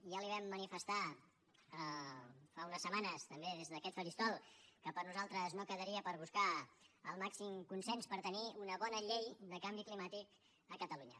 ja li vam manifestar fa unes setmanes també des d’aquest faristol que per nosaltres no quedaria per buscar el màxim consens per tenir una bona llei de canvi climàtic a catalunya